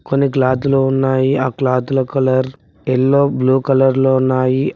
కొన్ని క్లాత్ లు ఉన్నాయి ఆ క్లాత్ ల కలర్ యెల్లో బ్లూ కలర్ లో ఉన్నాయి ఆ--